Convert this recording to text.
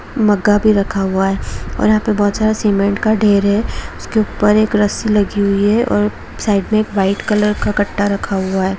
मग्गा भि रखा हुआ है और यहा पर बहुत सारा सीमेंट का ढेर है उसके ऊपर एक रस्सी लगी हुए है और साइड में एक व्हाइट कलर का कट्टा रखा हुआ है।